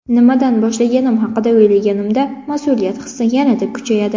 Nimadan boshlaganim haqida o‘ylaganimda, mas’uliyat hissi yana-da kuchayadi.